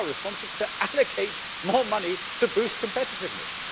What is our response? It is to allocate more money to boost competitiveness.